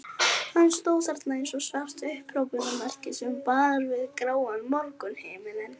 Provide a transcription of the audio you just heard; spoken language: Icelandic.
Hann stóð þarna eins og svart upphrópunarmerki sem bar við gráan morgunhimininn.